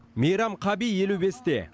мейрам қаби елу бесте